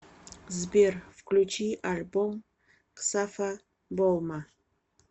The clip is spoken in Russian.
сбер включи альбом ксафа болма